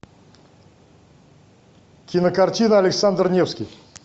кинокартина александр невский